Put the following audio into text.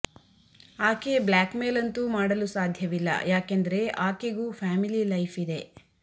ಆಕೆ blackmail ಅಂತೂ ಮಾಡಲು ಸಾಧ್ಯವಿಲ್ಲ ಯಾಕೆಂದರೆ ಆಕೆಗೂ ಫ್ಯಾಮಿಲಿ ಲೈಫ್ ಇದೆ